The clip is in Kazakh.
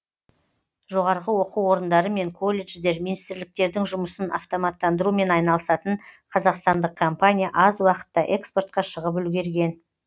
жоғары оқу орындарымен колледждер министрліктердің жұмысын автоматтандырумен айналысатын қазақстандық компания аз уақытта экспортқа шығып үлгерген